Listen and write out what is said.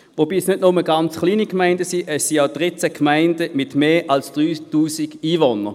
Es sind nicht nur ganz kleine Gemeinden, sondern es sind auch 13 Gemeinden mit mehr als 3000 Einwohnern.